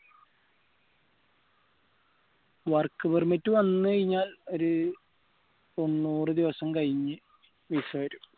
work permit വന്നുകഴിഞ്ഞാൽ ഒരു തൊണ്ണൂറ് ദിവസം കഴിഞ്ഞ് visa വരും